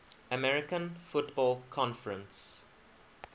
american football conference